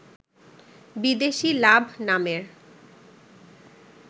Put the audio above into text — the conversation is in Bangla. বিদেশি লাভ নামের